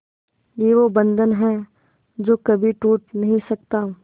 ये वो बंधन है जो कभी टूट नही सकता